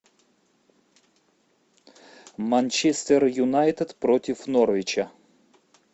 манчестер юнайтед против норвича